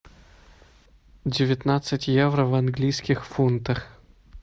девятнадцать евро в английских фунтах